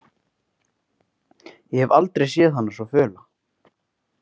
Ég hef aldrei séð hana svo föla.